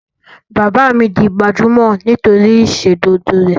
Bàbá mi di gbajúmọ̀ nítori ìsòdodo rẹ̀